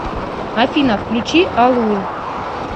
афина включи алур